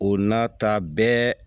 O n'a ta bɛɛ